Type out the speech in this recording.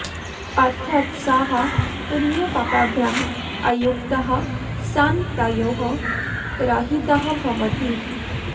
अर्थात् सः पुण्यपापाभ्याम् अयुक्तः सन् तयोः रहितः भवति